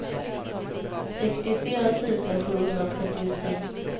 sextiofyra tusen sjuhundratrettiotre